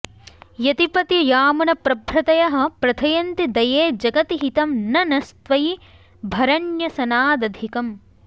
यतिपतियामुनप्रभृतयः प्रथयन्ति दये जगति हितं न नस्त्वयि भरन्यसनादधिकम्